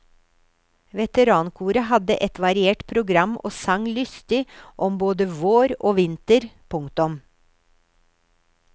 Veterankoret hadde et variert program og sang lystig om både vår og vinter. punktum